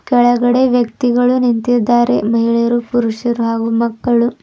ಕೆಳಗಡೆ ವ್ಯಕ್ತಿಗಳು ನಿಂತಿದ್ದಾರೆ ಮಹಿಳೆಯರು ಪುರುಷರು ಹಾಗೂ ಮಕ್ಕಳು.